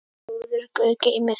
Góður Guð geymi þig.